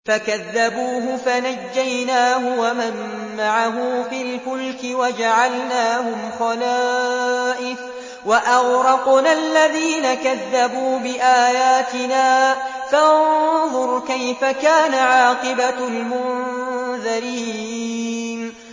فَكَذَّبُوهُ فَنَجَّيْنَاهُ وَمَن مَّعَهُ فِي الْفُلْكِ وَجَعَلْنَاهُمْ خَلَائِفَ وَأَغْرَقْنَا الَّذِينَ كَذَّبُوا بِآيَاتِنَا ۖ فَانظُرْ كَيْفَ كَانَ عَاقِبَةُ الْمُنذَرِينَ